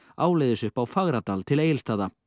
áleiðis upp á Fagradal til Egilsstaða